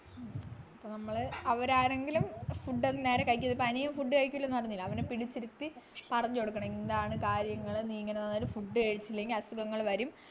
അപ്പോ നമ്മള് അവരാരെങ്കിലും food നേരെ കഴിക്കൽ ഇപ്പൊ അനിയൻ കഴിക്കൂലെന്നു പറഞ്ഞില്ലേ അവനെ പിടിച്ചിരുത്തി പറഞ്ഞു കൊടുക്കണം ഇന്നതാണ് കാര്യങ്ങൾ നീ ഇങ്ങനെ നിന്ന food കഴിച്ചില്ലെങ്കിൽ അസുഖങ്ങള് വരും